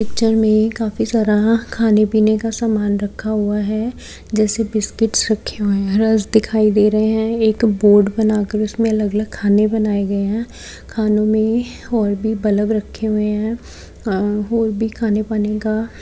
picture में काफी सारा खाने पीने का सामान रखा हुआ है जैसे बिस्किट रखे हुए हैं रस्क दिखाई दे रहे हैं एक बोर्ड बना कर उसमें अलग-अलग खाने बनाए गए हैं खानो में और भी बल्ब रखे हुए हैं और भी खाने पाने का --